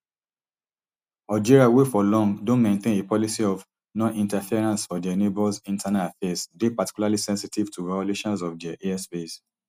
algeria wey for long don maintain a policy of noninterference for dia neighbours internal affairs dey particularly sensitive to violations of dia airspace